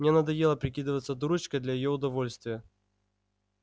мне надоело прикидываться дурочкой для её удовольствия